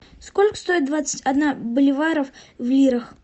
сколько стоит двадцать одна боливаров в лирах